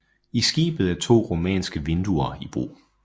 I skibet er to romanske vinduer i brug